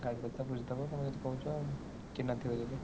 ଗାଡି କଥା ବୁଝିଦବ ତମେ ଯଦି କହୁଛ ଆଉ ଚିହ୍ନା ଥିବ ଯଦି।